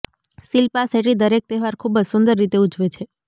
શિલ્પા શેટ્ટી દરેક તહેવાર ખૂબ જ સુંદર રીતે ઉજવે છે